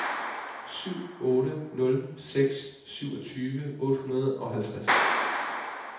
syv otte nul seks syvogtyve otte hundrede og halvtreds